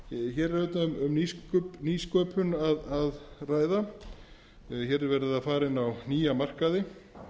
hér er auðvitað um nýsköpun að ræða hér er verið að fara inn á nýja markaði